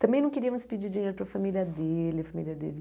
Também não queríamos pedir dinheiro para a família dele. A familia dele